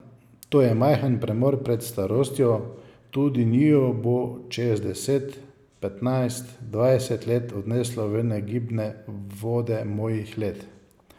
To je majhen premor pred starostjo, tudi njiju bo čez deset, petnajst, dvajset let odneslo v negibne vode mojih let.